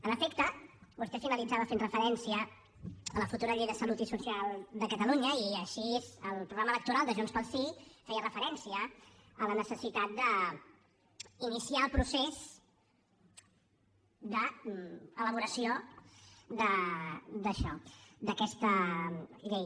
en efecte vostè finalitzava fent referència a la futura llei de salut i social de catalunya i així el programa electoral de junts pel sí feia referència a la necessitat d’iniciar el procés d’elaboració d’això d’aquesta llei